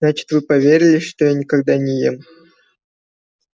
значит вы поверили что я никогда не ем